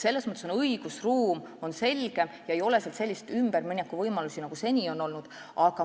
Selles mõttes on õigusruum selgem, et seal ei ole selliseid ümber mineku võimalusi, nagu seni on olnud.